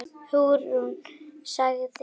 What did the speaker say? Hugrún sagði